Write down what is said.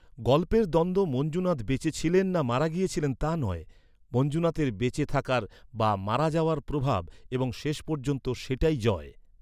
গল্পের দ্বন্দ্ব মঞ্জুনাথ বেঁচে ছিলেন না মারা গিয়েছিলেন তা নয়, মঞ্জুনাথের বেঁচে থাকার বা মারা যাওয়ার প্রভাব এবং শেষ পর্যন্ত সেটাই জয়।